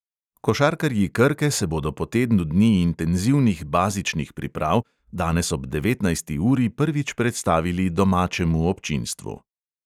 Košarkarji krke se bodo po tednu dni intenzivnih bazičnih priprav danes ob devetnajsti uri prvič predstavili domačemu občinstvu.